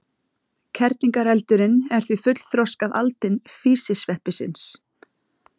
Kerlingareldurinn er því fullþroskað aldin físisveppsins.